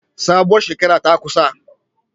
Sabuwar shekara ta kusa